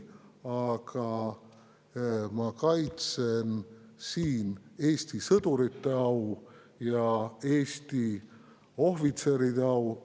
Aga ma kaitsen siin Eesti sõdurite au ja Eesti ohvitseride au.